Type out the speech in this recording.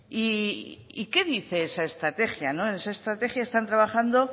y qué dice esa estrategia en esa estrategia están trabajando